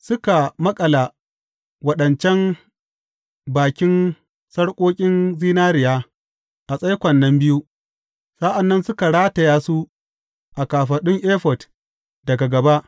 Suka maƙala waɗancan bakin sarƙoƙin zinariya a tsaikon nan biyu, sa’an nan suka rataya su a kafaɗun efod daga gaba.